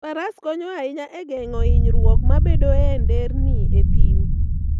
Faras konyo ahinya e geng'o hinyruok mabedoe e nderni e thim.